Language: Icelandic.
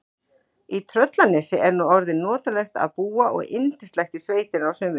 Í Tröllanesi er nú orðið notalegt að búa og yndislegt í sveitinni að sumrinu.